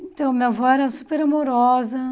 Então, minha avó era super amorosa.